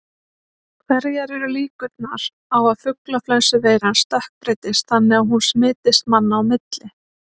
Hverjar eru líkurnar á að fuglaflensuveiran stökkbreytist þannig að hún smitist manna á milli?